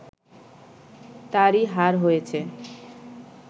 তারই হার হয়েছে